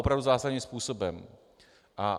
Opravdu zásadním způsobem.